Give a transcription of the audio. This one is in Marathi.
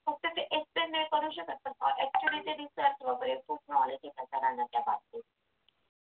फक्त ते external करू शकत नाही कॉलेजचे research वगैरे खूप knowledge आहे त्या सरांना त्याबाबतीत